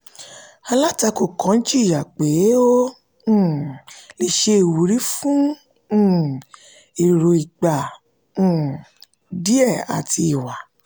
alátakò kan jiyàn pé ó um le ṣe ìwúrí fún um èrò ìgbà um díè àti ìwà.